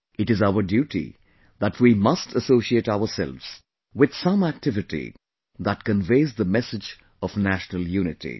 It is our duty that we must associate ourselves with some activity that conveys the message of national unity